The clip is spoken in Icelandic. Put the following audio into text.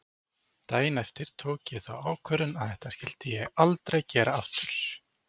Daginn eftir tók ég þá ákvörðun að þetta skyldi ég aldrei gera aftur.